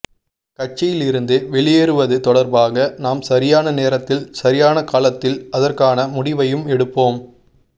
கட்சியில் இருந்து வெளியேறுவது தொடர்பாக நாம் சரியான நேரத்தில் சரியான காலத்தில் அதற்கான முடிவையும் எடுப்போம்